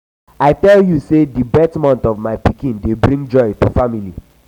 i tell you sey di birth of my pikin dey bring joy to my family.